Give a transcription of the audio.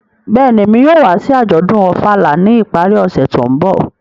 Bẹ́ẹ̀ni, Emi yóò wa si ajọdun Ofala ni ipari ọse to nbọ.